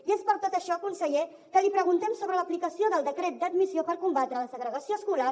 i és per tot això conseller que li preguntem sobre l’aplicació del decret d’admissió per combatre la segregació escolar